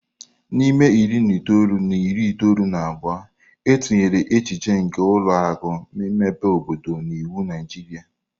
N'ime iri na itoolu na iri itoolu na abụọ, e tinyere echiche nke ụlọ akụ mmepe obodo n'iwu Naijiria.